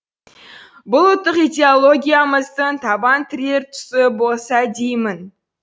бұл ұлттық идеологиямыздың табан тірер тұсы болса деймін